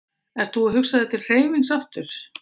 Ert þú að hugsa þér til hreyfings aftur?